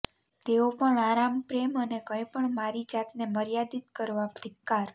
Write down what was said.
તેઓ પણ આરામ પ્રેમ અને કંઈપણ મારી જાતને મર્યાદિત કરવા ધિક્કાર